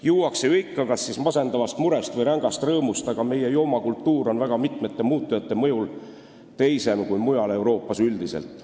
Juuakse ju ikka, kas siis masendavast murest või rängast rõõmust, aga meie joomakultuur on väga mitme muutuja mõjul teisem kui mujal Euroopas üldiselt.